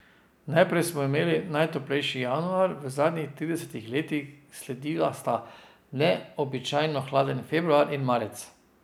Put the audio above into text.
Najprej smo imeli najtoplejši januar v zadnjih tridesetih letih, sledila sta neobičajno hladna februar in marec.